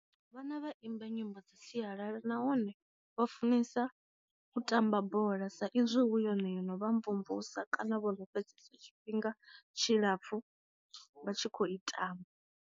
Vhana vha imba nyimbo dza sialala nahone vha funesa u tamba bola sa izwi hu yone yo no vha mvumvusa kana vho fhedzesa tshifhinga tshilapfu vha tshi kho i tamba.